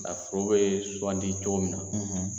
A foro bɛ ye sugandi cogo min na